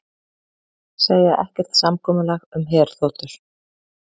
Segja ekkert samkomulag um herþotur